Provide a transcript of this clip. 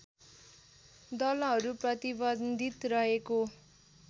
दलहरू प्रतिबन्धित रहेको